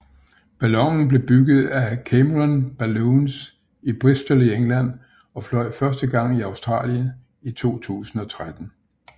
Ballonen blev bygget af Cameron Balloons i Bristol i England og fløj første gang i Australien i 2013